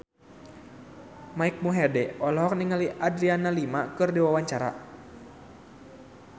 Mike Mohede olohok ningali Adriana Lima keur diwawancara